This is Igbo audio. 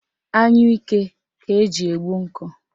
Anyụike ka eji egbu nkụ